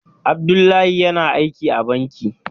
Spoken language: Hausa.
Abdullahi yana aiki a banki.